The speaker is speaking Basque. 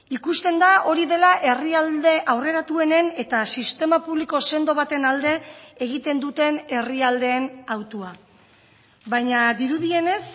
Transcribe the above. ikusten da hori dela herrialde aurreratuenen eta sistema publiko sendo baten alde egiten duten herrialdeen hautua baina dirudienez